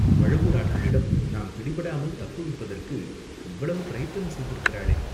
பழுவூர் ஆட்களிடம் நாம் பிடிபடாமல் தப்புவிப்பதற்கு இவ்வளவு பிரயத்தனம் செய்திருக்கிறாளே?